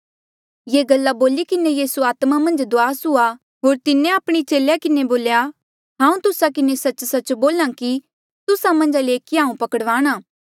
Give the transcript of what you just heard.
ये गल्ला बोली किन्हें यीसू आत्मा मन्झ दुआस हुआ होर तिन्हें आपणे चेले किन्हें बोलेया हांऊँ तुस्सा किन्हें सच्च सच्च बोल्हा कि तुस्सा मन्झा ले ऐकीया हांऊँ पकड़ वाणा